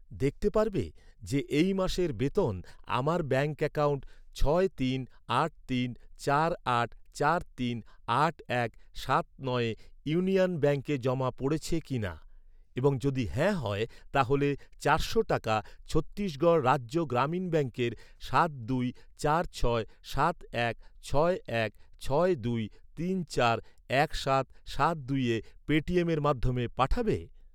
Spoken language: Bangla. দেখতে পারবে যে এই মাসের বেতন আমার ব্যাঙ্ক অ্যাকাউন্ট ছয় তিন আট তিন চার আট চার তিন আট এক সাত নয়ে ইউনিয়ন ব্যাঙ্কে জমা পড়েছে কিনা, এবং যদি হ্যাঁ হয়, তাহলে চারশো টাকা ছত্তিশগড় রাজ্য গ্রামীণ ব্যাঙ্কের সাত দুই চার ছয় সাত এক ছয় এক ছয় দুই তিন চার এক সাত সাত দুইয়ে পেটিএমের মাধ্যমে পাঠাবে?